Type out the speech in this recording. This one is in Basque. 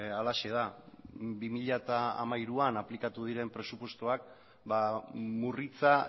halaxe da bi mila hamairuan aplikatu diren presupuestoak murritza